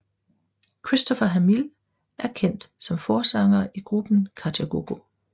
Christopher Hamill er kendt som forsanger i gruppen Kajagoogoo